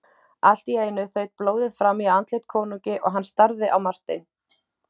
Allt í einu þaut blóðið fram í andlit konungi og hann starði á Martein.